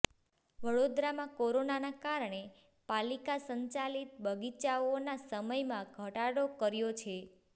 વડોદરામાં કોરોનાના કારણે પાલિકા સંચાલિત બગીચાઓના સમયમાં ઘટાડો કર્યો છે